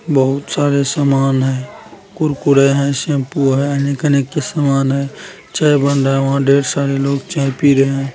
बहुत सारे सामान है कुरकुरे है शैम्पू है अनेक-अनेक सामान है चाय बन रहा है वहाँ ढेर सारे लोग चाय पी रहे है।